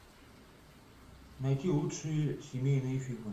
найти лучшие семейные фильмы